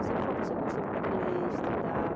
Eu sempre fui uma pessoa que gostava muito de ler, estudar.